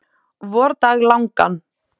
vordag langan.